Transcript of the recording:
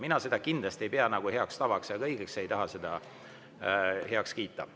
Mina ei pea seda kindlasti heaks tavaks ega õigeks, ei taha seda heaks kiita.